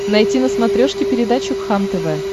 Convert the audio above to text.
найти на смотрешке передачу кхлм тв